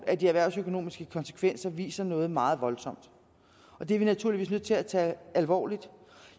af de erhvervsøkonomiske konsekvenser viser noget meget voldsomt og det er vi naturligvis nødt til at tage alvorligt